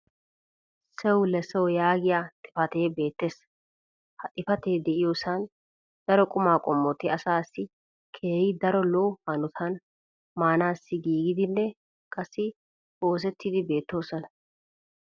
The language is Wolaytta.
"sewlesew" yaagiya xifatee beetees. ha xifatee diyoosan daro qumaa qommoti asaassi keehi daro lo'o hanotan maanassi giigidinne qassi oosettidi beetoosona.